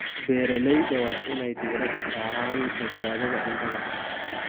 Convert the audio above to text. Beeralayda waa inay diirada saaraan badbaadada cuntada.